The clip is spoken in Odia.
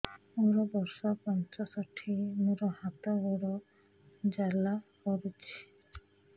ମୋର ବର୍ଷ ପଞ୍ଚଷଠି ମୋର ହାତ ଗୋଡ଼ ଜାଲା କରୁଛି